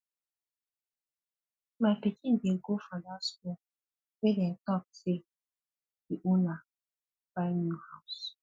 my pikin dey go for dat school where dey talk say di owner buy new house